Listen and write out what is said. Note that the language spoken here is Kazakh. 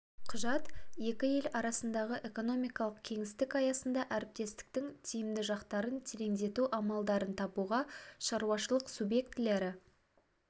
құжат екі ел арасындағы экономикалық кеңістік аясында әріптестіктің тиімді жақтарын тереңдету амалдарын табуға шаруашылық субъектілері